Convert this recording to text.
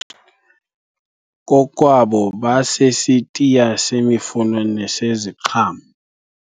Kokwabo basesitiya semifuno neseziqhamo.